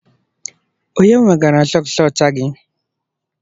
Onye wegara sọks ọcha gị?